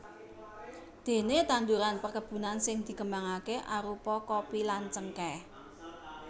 Déné tanduran perkebunan sing dikembangaké arupa kopi lan cengkèh